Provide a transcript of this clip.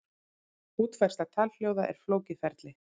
Útfærsla talhljóða er flókið ferli.